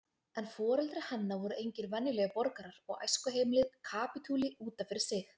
En foreldrar hennar voru engir venjulegir borgarar og æskuheimilið kapítuli út af fyrir sig.